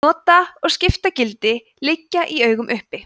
nota og skiptagildi liggja í augum uppi